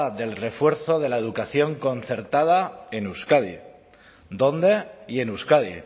del refuerzo de la educación concertada en euskadi dónde y en euskadi